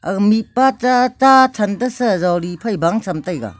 aga mikpa cha chachan tasa jodi phai baan chem taga.